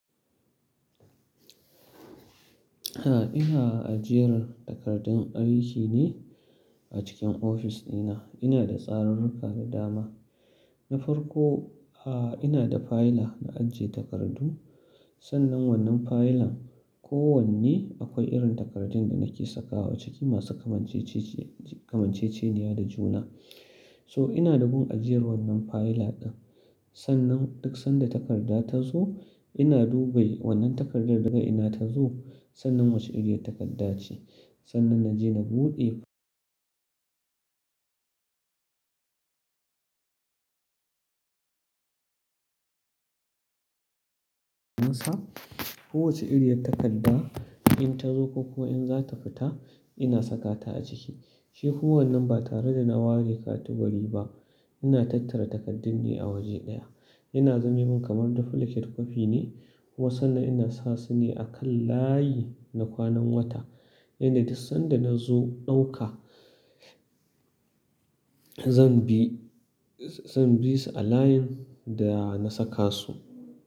A'a, ina ajiyar takardun aiki ne a cikin ofis dina. Ina da tsarurruka da dama. Na farko, ina da fayila na ajiye takardu. Sannan wannan fayilan kowanne akwai irin takardun da nake sakawa ciki masu kamancece-kamanceceniya da juna. To ina da gun ajiyar wannan fayila ɗin. Sannan duk sanda takarda ta zo, ina duba wannan takardar daga ina ta zo, sannan wace iriyar takarda ce. Sannan na je na buɗe. Musa. Kowace iriyar takarda in ta zo ko kuwa in za ta fita, ina sakata a ciki. Shi kowannen ba tare da na ware katubari ba, ina tattara takardun ne a waje ɗaya. Ina zame min kamar duplicate kwafi ne. Kuma sannan ina sa su ne a kan layi na kwanan wata. Yanda duk sanda na zo ɗauka, zan bi-zan bi su a layin da na saka su.